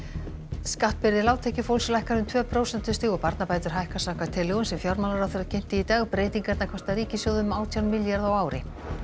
skattbyrði lágtekjufólks lækkar um tvö prósentustig og barnabætur hækka samkvæmt tillögum sem fjármálaráðherra kynnti í dag breytingarnar kosta ríkissjóð um átján milljarða á ári